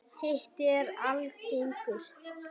Hiti er algengur.